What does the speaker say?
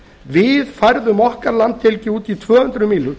við færðum okkar landhelgi út í tvö hundruð mílur